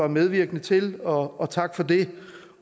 medvirkede til og tak for det